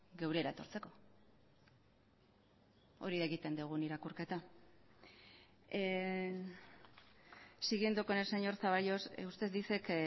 geurera etortzeko hori da egiten dugun irakurketa siguiendo con el señor zaballos usted dice que